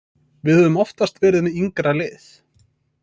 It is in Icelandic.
Við höfum oftast verið með yngra lið.